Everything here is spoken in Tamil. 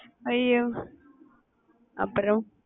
ஐய்யோ அப்புறம்